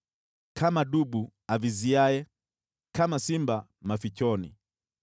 Kama dubu aviziaye, kama simba mafichoni,